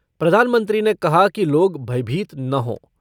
प्रधानमंत्री ने कहा कि लोग भयभीत न हो।